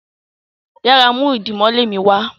yàrá mú idimole mi wá.